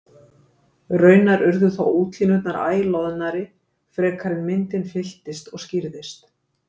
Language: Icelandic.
Raunar urðu þó útlínurnar æ loðnari frekar en myndin fylltist og skýrðist.